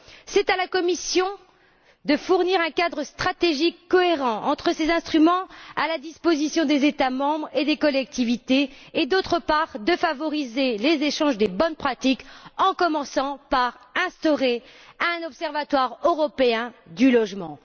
C'est à la Commission, d'une part, de fournir un cadre stratégique cohérent entre ces instruments à la disposition des États membres et des collectivités et, d'autre part, de favoriser les échanges des bonnes pratiques, en commençant par instaurer un observatoire européen du logement.